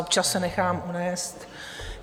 Občas se nechám unést.